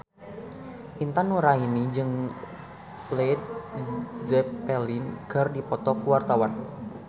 Intan Nuraini jeung Led Zeppelin keur dipoto ku wartawan